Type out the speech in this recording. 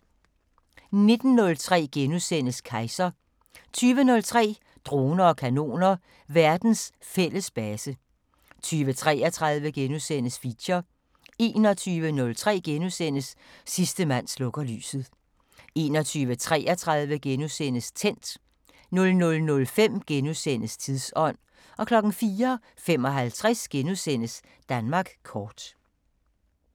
19:03: Kejser * 20:03: Droner og kanoner: Verdens fælles base 20:33: Feature * 21:03: Sidste mand slukker lyset * 21:33: Tændt * 00:05: Tidsånd * 04:55: Danmark Kort *